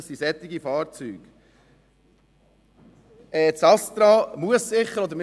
Um solche Fahrzeuge geht es unter anderem.